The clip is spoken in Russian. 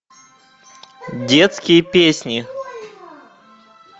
детские песни